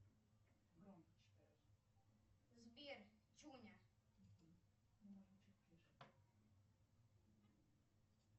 сбер чуня